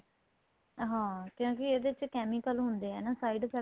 ਹਾਂ ਕਿਉਂਕਿ ਇਹਦੇ ਚ chemical ਹੁੰਦੇ ਏ side effect